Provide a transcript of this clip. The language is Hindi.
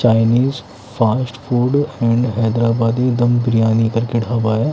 Chinese fast food and Hyderabadi dum biryani करके ढाबा है।